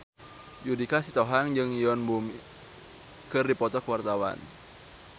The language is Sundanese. Judika Sitohang jeung Yoon Bomi keur dipoto ku wartawan